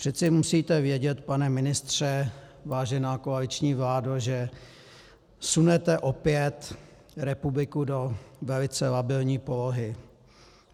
Přece musíte vědět, pane ministře, vážená koaliční vládo, že sunete opět republiku do velice labilní polohy.